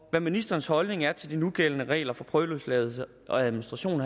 hvad ministerens holdning er til de nugældende regler for prøveløsladelse og administrationen